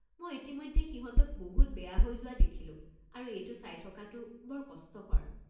মই ইতিমধ্যে সিহঁতক বহুত বেয়া হৈ যোৱা দেখিলোঁ আৰু এইটো চাই থকাটো বৰ কষ্টকৰ।